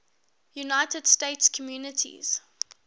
united states communities